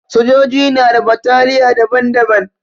Sojoji na da bataliya daban-daban.